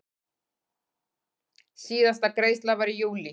Síðasta greiðsla var í júlí.